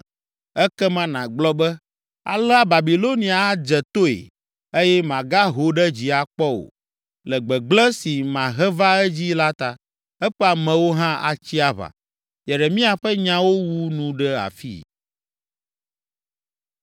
Ekema nàgblɔ be, ‘Alea Babilonia adze toe eye magaho ɖe dzi akpɔ o, le gbegblẽ si mahe va edzii la ta. Eƒe amewo hã atsi aʋa.’ ” Yeremia ƒe nyawo wu nu ɖe afii.